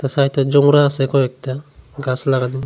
সাইডে আছে কয়েকটা গাছ লাগানো।